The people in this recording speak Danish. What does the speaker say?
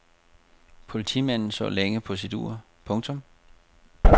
Politimanden så længe på sit ur. punktum